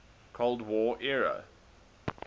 cold war era